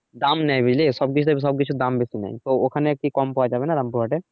দাম নেয় বুঝলি সব কিছু থেকে সব কিছু দাম বেশি নেয় তো ওখানে আরকি কম পাওয়া যাবে না রামপুর হাটে?